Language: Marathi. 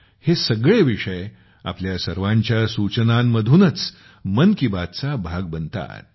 हे सगळे विषय आपण सर्वांच्या सूचनांमधूनच मन की बात चा हिस्सा बनतात